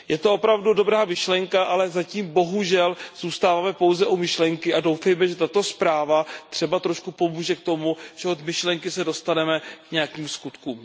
Je to opravdu dobrá myšlenka, ale zatím bohužel zůstáváme pouze u myšlenky a doufejme, že tato zpráva třeba trošku pomůže k tomu, že se od myšlenky dostaneme k nějakým skutkům.